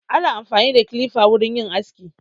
Ana amfani da kilifa wurin yin aski.